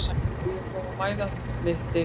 Á ég að koma og mæla þig